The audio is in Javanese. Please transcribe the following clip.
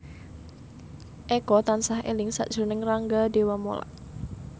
Eko tansah eling sakjroning Rangga Dewamoela